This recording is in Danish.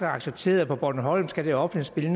accepteret at på bornholm skal det offentlige